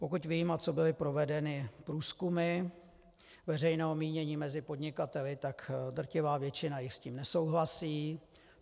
Pokud vím a co byly provedeny průzkumy veřejného mínění mezi podnikateli, tak drtivá většina jich s tím nesouhlasí.